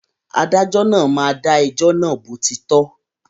Adájọ́ náà máa dà ẹjọ́ náà bó ti tọ́